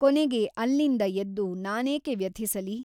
ಕೊನೆಗೆ ಅಲ್ಲಿಂದ ಎದ್ದು ನಾನೇಕೆ ವ್ಯಥಿಸಲಿ ?